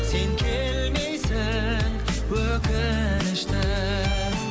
сен келмейсің өкінішті